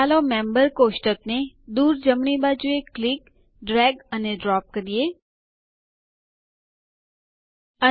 ચાલો members table ને દૂર જમણી બાજુએ ક્લિક દબાવવું ડ્રેગ ખસેડવું અને ડ્રોપ એક જગ્યાએ નાખવું કરીએ